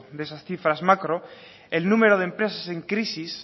de esas cifras macro el número de empresas en crisis